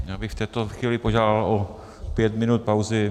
Já bych v této chvíli požádal o pět minut pauzy.